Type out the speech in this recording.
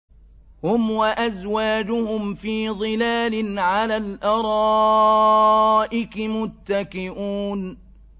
هُمْ وَأَزْوَاجُهُمْ فِي ظِلَالٍ عَلَى الْأَرَائِكِ مُتَّكِئُونَ